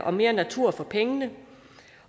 og mere natur for pengene